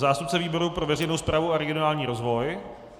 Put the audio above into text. Zástupce výboru pro veřejnou správu a regionální rozvoj?